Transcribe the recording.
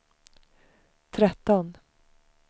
tretton